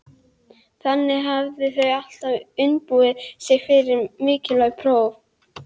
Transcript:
Þannig hafa þau alltaf undirbúið sig fyrir mikilvæg próf.